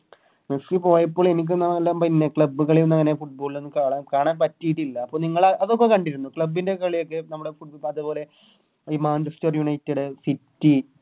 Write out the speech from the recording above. Messi പോയപ്പോൾ എനിക്കൊന്ന് അങ്ങനെ Club കളിയൊന്നു അങ്ങനെ Football നൊന്നും അങ്ങനെ കാണാൻ കാണാൻ പറ്റിട്ടില്ല അപ്പൊ നിങ്ങളെ അതൊക്കെ കണ്ടിരുന്നോ club ൻറെ കളിയൊക്കെ നമ്മളെ ഫുഡ് അതേപോലെ ഈ Manchester united city